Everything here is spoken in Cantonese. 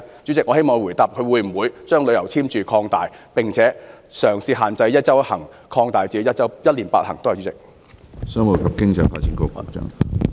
主席，我希望局長答覆會否將旅遊簽注限制擴大，並且將"一周一行"收緊至"一年八行"。